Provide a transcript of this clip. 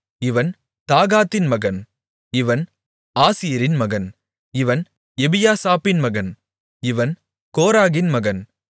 இவன் தாகாதின் மகன் இவன் ஆசீரின் மகன் இவன் எபியாசாப்பின் மகன் இவன் கோராகின் மகன்